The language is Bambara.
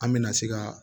An mɛna se ka